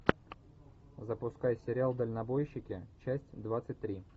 запускай сериал дальнобойщики часть двадцать три